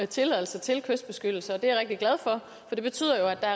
tilladelse til kystbeskyttelse og det er jeg rigtig glad for for det betyder jo at der